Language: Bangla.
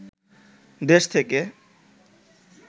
দেশ থেকে